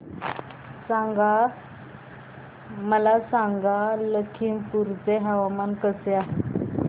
मला सांगा लखीमपुर चे हवामान कसे आहे